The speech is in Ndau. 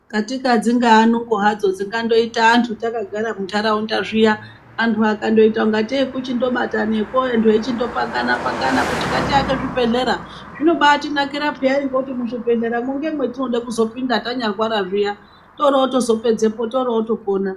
Katika dzingaa nungo hadzo dzingandoita antu takagara munharaunda zviyaa. Antu akandoita kungatei kuchindobatanakwo antu eichindopangana pangana kuti ngatiake zvibhedhlera. Zvinobatinakira peyani ngekuti muzvibhedhlera mwo ngemwetinoda kuzopinda tanyarwara zviya torotozopedzapo torotopona.